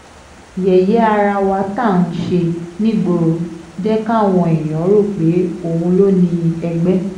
yẹ̀yẹ́ ara wa tá à ń ṣe nígboro jẹ́ káwọn èèyàn rò pé òun ló ni ẹgbẹ́